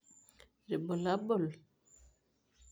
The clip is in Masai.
Ibulabul?